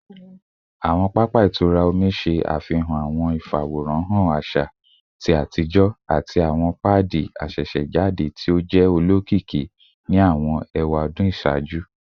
Awọn papa itura omi ṣe afihan awọn ifaworanhan aṣa ti atijọ ati awọn paadi asesejade ti o jẹ olokiki ni awọn ewadun iṣaaju